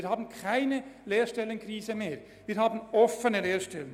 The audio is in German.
Wir haben keine Lehrstellenkrise mehr, sondern wir haben offene Lehrstellen.